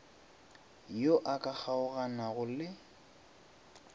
yo a ka kgaoganago le